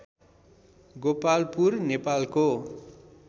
गोपालपुर नेपालको